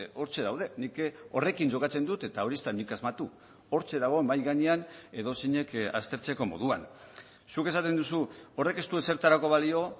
hortxe daude nik horrekin jokatzen dut eta hori ez da nik asmatu hortxe dago mahai gainean edozeinek aztertzeko moduan zuk esaten duzu horrek ez du ezertarako balio